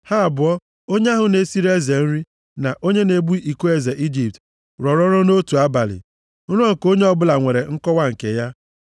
Ha abụọ, onye ahụ na-esiri eze nri, na onye na-ebu iko eze Ijipt, rọrọ nrọ nʼotu abalị. Nrọ nke onye ọ bụla nwere nkọwa nke ya.